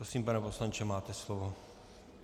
Prosím, pane poslanče, máte slovo.